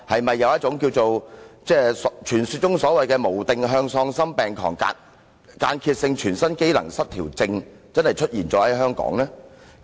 他是否患上傳說中的"無定向喪心病狂間歇性全身機能失調症"，這病是否真的在香港出現呢？